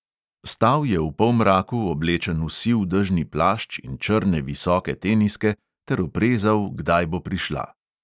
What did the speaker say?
Stal je v polmraku, oblečen v siv dežni plašč in črne visoke teniske, ter oprezal, kdaj bo prišla.